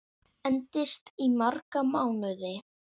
Endist í marga mánuði.